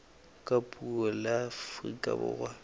ka puo la afrika borwa